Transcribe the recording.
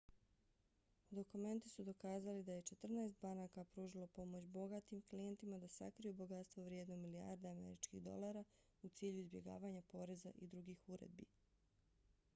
dokumenti su dokazali da je četrnaest banaka pružilo pomoć bogatim klijentima da sakriju bogatstvo vrijedno milijarde američkih dolara u cilju izbjegavanja poreza i drugih uredbi